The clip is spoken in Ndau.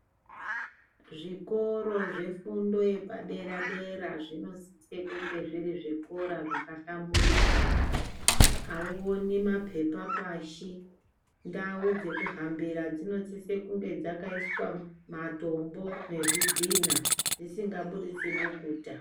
Zvikoro zvefundo yepadera dera zvinosise kunge zviri zvikora zvakahlamburuka, auoni mapepa pashi ndau dzekuhambira dzinosise kunge dzakaiswa matombo nezvidhina zvisingabuditsi bukuta.